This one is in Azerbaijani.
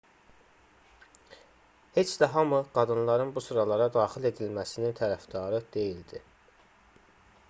heç də hamı qadınların bu sıralara daxil edilməsinin tərəfdarı deyildi